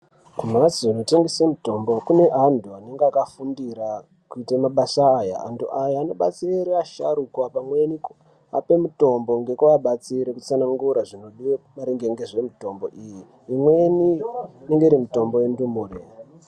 Kumbatso kunotengeswa mitombo kune antu inenge ine mabasa awo antu aya anobatsira vasharukwa amweni ape mitombo mekuvabatsira kutsanangura zvikora zvinodiwa maringe nemitombo iyi amweni kuningira mitombo yendumure.